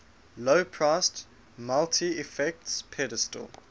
low priced multi effects pedal